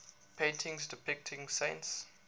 paintings depicting saints